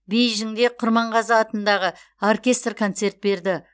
бейжіңде құрманғазы атындағы оркестр концерт берді